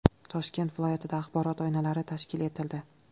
Toshkent viloyatida axborot oynalari tashkil etildi.